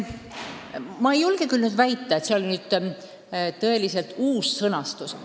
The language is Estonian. Ma ei julge küll väita, et tegu on tõeliselt uue sõnastusega.